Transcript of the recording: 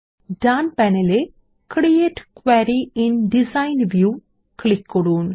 ডান panel এ create query in design view click করুন